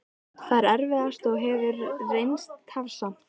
Það er erfiðast og hefur reynst tafsamt.